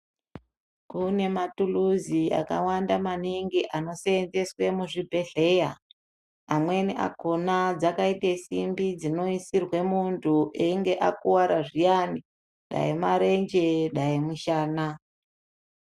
Kune mathuluzi akawanda maningi, anoseenzeswe muzvibhedhleya, amweni akhona dzakaite simbi dzinoisirwa muntu einga akuwata zviyani, dai marenje dai mushana.